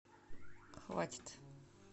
хватит